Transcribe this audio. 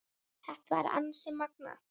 Þetta var því ansi magnað.